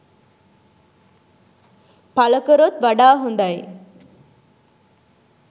පලකරොත් වඩා හොඳයි.